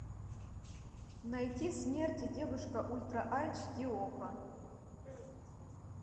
найти смерть и девушка ультра айч ди окко